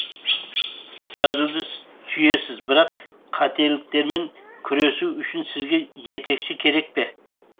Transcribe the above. жазуды сүйесіз бірақ қателіктермен күресу үшін сізге жетекші керек пе